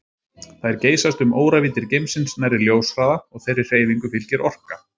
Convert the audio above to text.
Þær geysast um óravíddir geimsins nærri ljóshraða og þeirri hreyfingu fylgir orka.